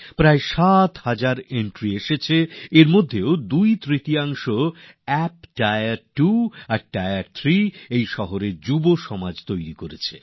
প্রায় ৭ হাজার এন্ট্রিজ এসেছিল তার মধ্যে প্রায় দুইতৃতীয়াংশ অ্যাপস টায়ার টু আর টায়ার থ্রী শহরের যুববন্ধুরা বানিয়েছেন